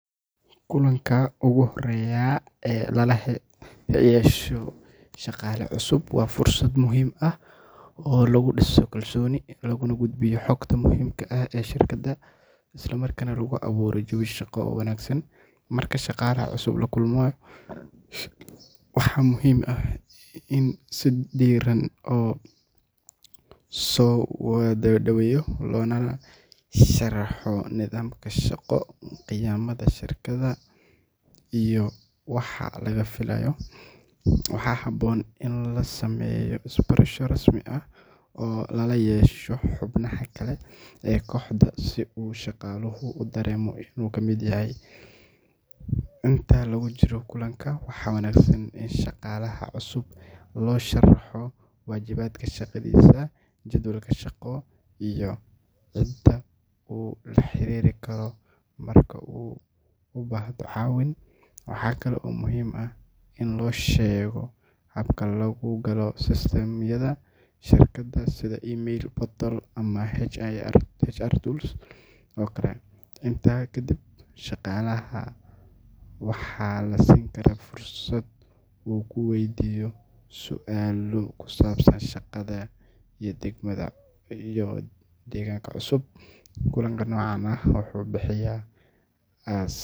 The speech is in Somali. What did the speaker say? Kulanka ugu horreeya ee lala yeesho shaqaale cusub waa fursad muhiim ah oo lagu dhiso kalsooni, lagu gudbiyo xogta muhiimka ah ee shirkadda, isla markaana lagu abuuro jawi shaqo oo wanaagsan. Marka shaqaalaha cusub la kulmayo, waxaa muhiim ah in si diirran loo soo dhaweeyo, loona sharaxo nidaamka shaqo, qiyamka shirkadda, iyo waxa laga filayo. Waxaa habboon in la sameeyo isbarasho rasmi ah oo lala yeesho xubnaha kale ee kooxda si uu shaqaaluhu u dareemo inuu ka mid yahay. Inta lagu jiro kulanka, waxaa wanaagsan in shaqaalaha cusub loo sharaxo waajibaadka shaqadiisa, jadwalka shaqo, iyo cidda uu la xariiri karo marka uu u baahdo caawin. Waxa kale oo muhiim ah in loo sheego habka lagu galo system-yada shirkadda sida email, portal, ama HR tools oo kale. Intaa ka dib, shaqaalaha waxaa la siin karaa fursad uu ku weydiiyo su’aalo ku saabsan shaqada iyo deegaanka cusub. Kulanka noocan ah wuxuu bixiyaa.